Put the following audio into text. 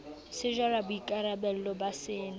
se jara boikarabello ba sena